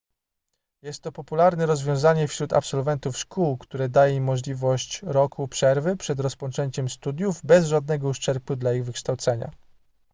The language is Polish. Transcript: jest to popularne rozwiązanie wśród absolwentów szkół które daje im możliwość roku przerwy przed rozpoczęciem studiów bez żadnego uszczerbku dla ich wykształcenia